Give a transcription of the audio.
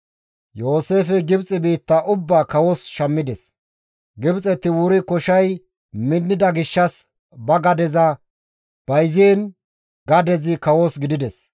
Yooseefey Gibxe biitta ubbaa kawos shammides. Gibxeti wuri koshay minnida gishshas ba gadeza bayziin gadezi kawos gidides.